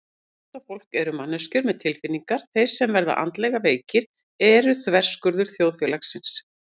Íþróttafólk eru manneskjur með tilfinningar Þeir sem verða andlega veikir eru þverskurður þjóðfélagsins.